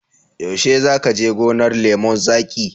Yaushe za ka je gonar lemun zaƙin?